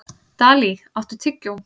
Dalí, áttu tyggjó?